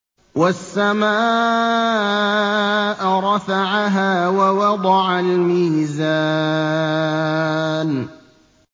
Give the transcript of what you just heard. وَالسَّمَاءَ رَفَعَهَا وَوَضَعَ الْمِيزَانَ